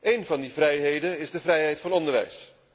Een van die vrijheden is de vrijheid van onderwijs.